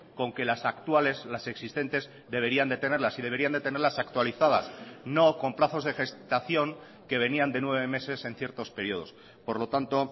con que las actuales las existentes deberían de tenerlas y deberían de tenerlas actualizadas no con plazos de gestación que venían de nueve meses en ciertos periodos por lo tanto